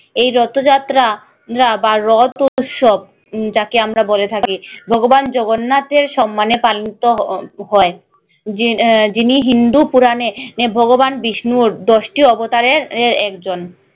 এই রথ যাত্রা বা রথ উৎসব যাকে আমরা বলে থাকি ভগবান জগন্নাথের সম্মানে পালিত হ হয় আহ যিনি হিন্দু পুরানে নে ভগবান বিষ্ণুর দশটি অবতারের আহ একজন